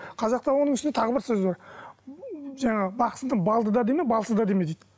қазақта оның үстіне тағы бір сөз бар жаңағы бақсыны балды да деме балсыз да деме дейді